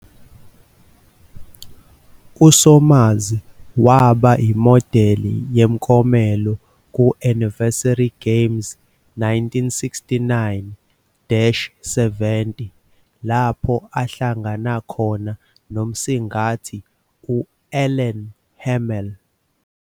USomers waba imodeli yemiklomelo ku- "Anniversary Game", 1969-70, lapho ahlangana khona nomsingathi u-Alan Hamel.